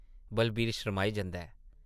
बलवीर शर्माई जंदा ऐ ।